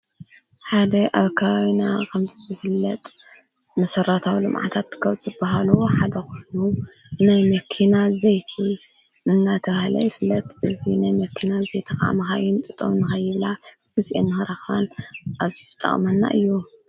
ሓደ ኣብ ካዩና ኸምፂዙ ፍለጥ መሠረታው ሎምዕታት ከብጽ ብሃሉ ሓደ ኹሕኑ ናይ መኪናት ዘይቲ እናተውሃለይ ይፍለጥ እዙይ ናይ መኪናት ዘተቓዓመሃይን ጥጦዉንኸይብላ ብዜአ ንህረኻን ኣብዙፍጠቕመና እዩ